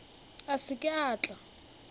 a se ke a tla